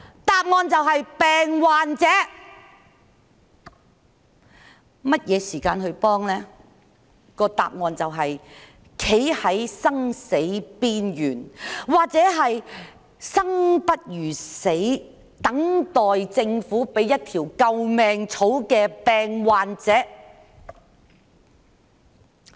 答案就是當病患者站在生死邊緣，或是生不如死、等待政府給予一條救命草的時候。